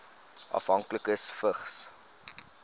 afhanklikes vigs